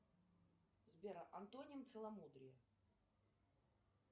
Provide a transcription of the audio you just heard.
сбер антоним целомудрия